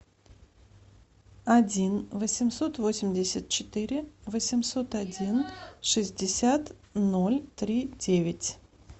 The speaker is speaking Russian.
один восемьсот восемьдесят четыре восемьсот один шестьдесят ноль три девять